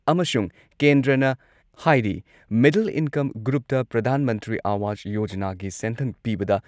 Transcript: ꯑꯃꯁꯨꯡ ꯀꯦꯟꯗ꯭ꯔꯅ ꯍꯥꯏꯔꯤ ꯃꯤꯗꯜ ꯏꯟꯀꯝ ꯒ꯭ꯔꯨꯞꯇ ꯄ꯭ꯔꯙꯥꯟ ꯃꯟꯇ꯭ꯔꯤ ꯑꯋꯥꯁ ꯌꯣꯖꯅꯥꯒꯤ ꯁꯦꯟꯊꯪ ꯄꯤꯕꯗ